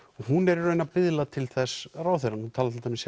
hún er í raun að biðla til þess ráðherrann hún talar til dæmis